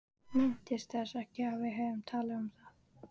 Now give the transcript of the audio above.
Minntist þess ekki að við hefðum talað um það.